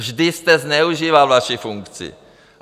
Vždy jste zneužíval vaši funkci.